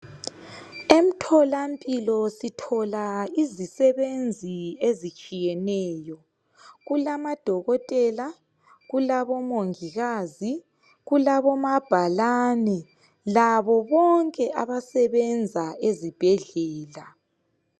Emthola mpilo sithola izisebenzi ezitshiyeneyo kulamadokotela, kulabomongikazi, kulabomabhalani labo bonke abasebenza ezibhedlela